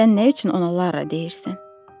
Sən nə üçün ona Lara deyirsən?